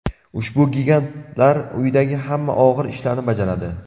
Ushbu gigantlar uydagi hamma og‘ir ishlarni bajaradi.